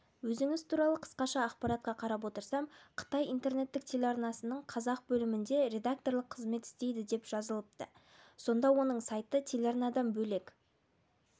өзіңіз туралы қысқаша ақпаратқа қарап отырсам қытай интернеттік телеарнасының қазақ бөлімінде редакторлық қызмет істейді деп жазылыпты сонда оның сайты телеарнадан бөлек